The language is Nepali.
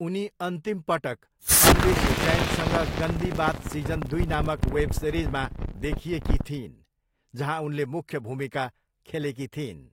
उनी अन्तिम पटक अन्वेशी जैनसँग गन्दी बात सिजन दुई नामक वेब सिरिजमा देखिएकी थिइन्, जहाँ उनले मुख्य भूमिका खेलेकी थिइन्।